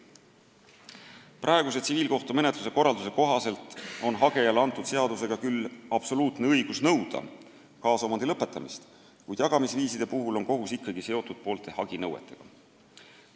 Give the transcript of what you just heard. Praeguse tsiviilkohtumenetluse korralduse kohaselt on hagejale seadusega antud küll absoluutne õigus nõuda kaasomandi lõpetamist, kuid jagamisviiside puhul on kohus ikkagi seotud poolte haginõuetega.